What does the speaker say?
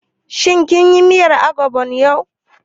Shin kin yi miyar ogbono yau?